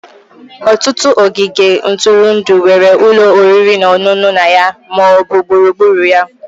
Ọtụtụ ogige ntụrụndụ nwere ụlọ oriri na ọṅụṅụ na ya ma ọ bụ gburugburu ya.